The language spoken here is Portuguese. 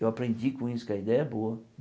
Eu aprendi com isso que a ideia é boa.